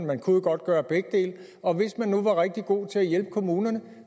man kunne jo godt gøre begge dele og hvis man nu var rigtig god til at hjælpe kommunerne